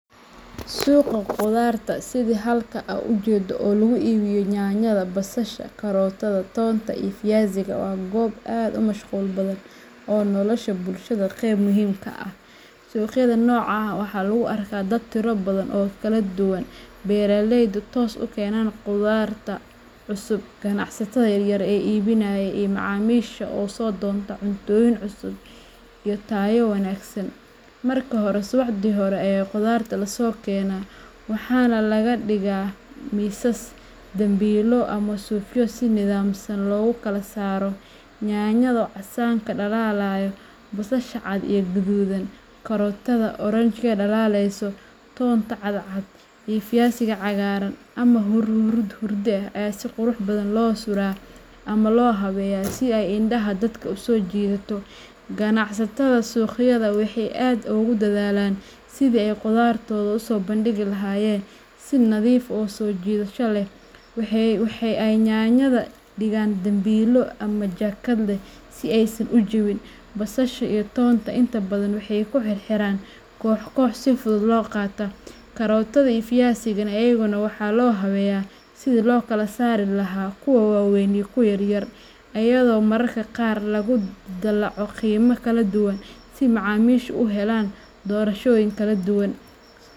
Suqaa khudarta, sida halka an ujedo oo lagu iibiyo yaanyada, basasha, karootada, toonta, iyo fiyasiga, waa goob aad u mashquul badan oo nolosha bulshada qayb muhiim ah ka ah. Suuqyada noocan ah waxaa lagu arkaa dad tiro badan oo kala duwan beeraleyda toos u keena khudradda cusub, ganacsatada yaryar ee iibinaya, iyo macaamiisha u soo doonta cuntooyin cusub iyo tayo wanaagsan. Marka hore, subaxdii hore ayaa khudradda lasoo keenaa, waxaana la dhigaa miisas, dambiilo, ama suufyo si nidaamsan loogu kala saaro. Yaanyada oo casaanka dhalaalaya, basasha cad iyo guduudan, karootada oranji dhalaalaysa, toonta cad cad, iyo fiyasiga cagaaran ama hurdi ah ayaa si qurux badan loo sudhaa ama loo habeeyaa si ay indhaha dadka u soo jiidato. Ganacsatada suuqyada waxay aad ugu dadaalaan sidii ay khudraddooda u soo bandhigi lahaayeen si nadiif ah oo soo jiidasho leh. Waxa ay yaanyada dhigaan dambiilo ama jaakad leh si aysan u jabin, basasha iyo toontana inta badan waxay ku xirxiraan koox koox si fudud loo qaato. Karootada iyo fiyasiga iyaguna waxaa loo habeeyaa sidii loo kala saari lahaa kuwa waaweyn iyo kuwa yaryar, iyadoo mararka qaar lagu dallaco qiimo kala duwan si macaamiishu u helaan doorashooyin kala duwan.